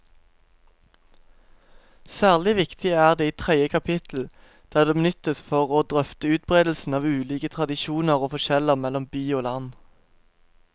Særlig viktig er det i tredje kapittel, der det benyttes for å drøfte utbredelsen av ulike tradisjoner og forskjeller mellom by og land.